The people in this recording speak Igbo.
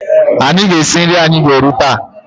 Anyị ga-esi nri anyị ga-eri taa.